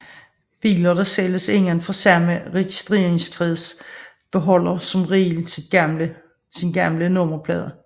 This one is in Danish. Biler der sælges indenfor samme registreringskreds beholder som regel sin gamle nummerplade